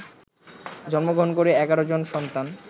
জন্মগ্রহণ করে ১১ জন সন্তান